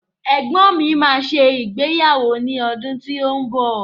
Egbọ́n mi máa ṣe ìgbéyàwó ní ọdún tí ó ń bọ̀